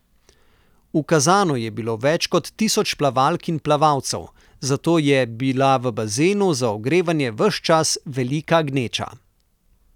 V Kazanu je bilo več kot tisoč plavalk in plavalcev, zato je bila v bazenu za ogrevanje ves čas velika gneča.